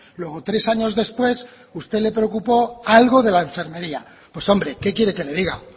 luego tres años después a usted le preocupó algo de la enfermería pues hombre que quiere que le diga